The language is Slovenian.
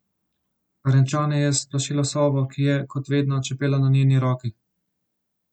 Renčanje je splašilo sovo, ki je, kot vedno, čepela na njeni roki.